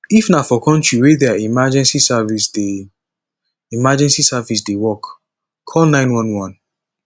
if na for country wey their emergency service dey emergency service dey work call 911